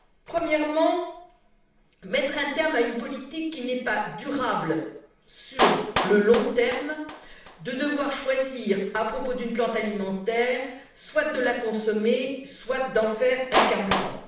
Premièrement, mettre un terme à une politique qui n'est pas durable à long terme celle de devoir choisir, à propos d'une plante alimentaire, soit de la consommer soit d'en faire un carburant.